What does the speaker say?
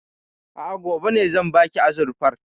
A'a, gobe ne zan baki azurfar.